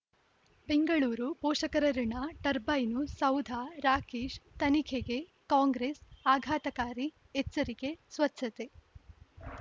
ಬೆಂಗಳೂರು ಪೋಷಕರಋಣ ಟರ್ಬೈನು ಸೌಧ ರಾಕೇಶ್ ತನಿಖೆಗೆ ಕಾಂಗ್ರೆಸ್ ಆಘಾತಕಾರಿ ಎಚ್ಚರಿಕೆ ಸ್ವಚ್ಛತೆ